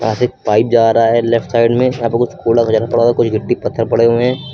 यहां से एक पाइप जा रहा है लेफ्ट साइड में। यहां पर कुछ कूड़ा कचरा पड़ा हुआ है। कुछ गिट्टी पत्थर पड़े हुए हैं।